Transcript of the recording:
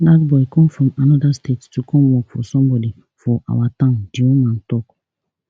dat boy come from anoda state to come work for somebody for our town di woman tok